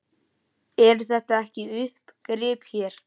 Eru þetta ekki uppgrip hér?